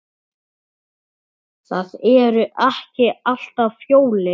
Það eru ekki alltaf jólin.